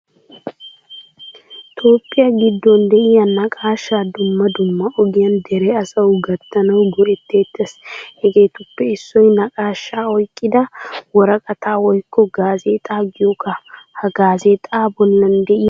Toophphiyaa giddon de'iyaa naaqashshaa dumma dumma ogiyan dere asawu gattanawu go'etettees. Hegettuppe issoy naqaashsha oyqqida mworqqata woykko gazexaa giyogaa. Ha gazexa bollan de'iyaa biitane oone?